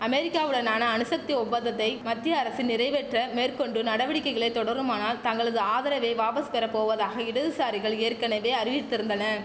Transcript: அமெரிக்காவுடனான அணுசக்தி ஒப்பந்தத்தை மத்திய அரசு நிறைவேற்ற மேற்கொண்டு நடவடிக்கைகளை தொடருமானால் தங்களது ஆதரவை வாபஸ் பெற போவதாக இடதுசாரிகள் ஏற்கனவே அறிவித்திருந்தன